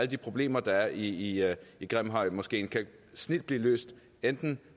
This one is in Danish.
de problemer der er i i grimhøjmoskeen kan snildt blive løst enten